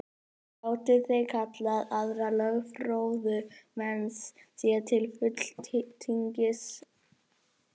Gátu þeir kallað aðra lögfróða menn sér til fulltingis.